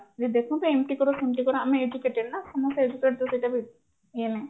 ଯେ ଦେଖନ୍ତୁ ଏମତି କର ସେମିତି କର ଆମେ educated ନା